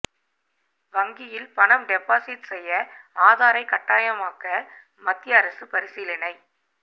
வங்கியில் பணம் டெபாசிட் செய்ய ஆதாரை கட்டாயமாக்க மத்திய அரசு பரிசீலனை